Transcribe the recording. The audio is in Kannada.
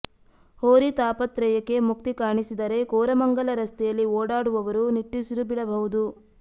ಹೋರಿ ತಾಪತ್ರಯಕ್ಕೆ ಮುಕ್ತಿ ಕಾಣಿಸಿದರೆ ಕೋರಮಂಗಲ ರಸ್ತೆಯಲ್ಲಿ ಓಡಾಡುವವರು ನಿಟ್ಟುಸಿರು ಬಿಡಬಹುದು